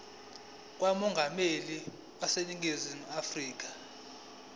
kamongameli waseningizimu afrika